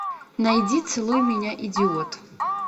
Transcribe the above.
найди целуй меня идиот